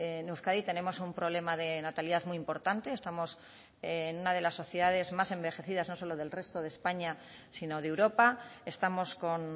en euskadi tenemos un problema de natalidad muy importante estamos en una de las sociedades más envejecidas no solo del resto de españa sino de europa estamos con